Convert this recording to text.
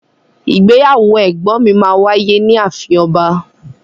Ìgbéyàwó ẹgbọn mi ma wáyé ni àfín ọba.